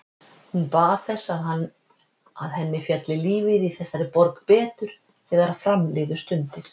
Hún bað þess, að henni félli lífið í þessari borg betur, þegar fram liðu stundir.